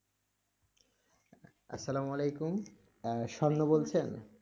আসসালামু আলাইকুম, আহ শান্ত বলছি আমি,